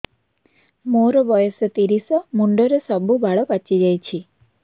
ମୋର ବୟସ ତିରିଶ ମୁଣ୍ଡରେ ସବୁ ବାଳ ପାଚିଯାଇଛି